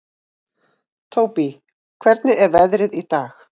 Tóbý, hvernig er veðrið í dag?